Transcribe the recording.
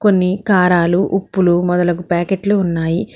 కొన్ని కారాలు ఉప్పులు మొదలగు ప్యాకెట్లు ఉన్నాయి.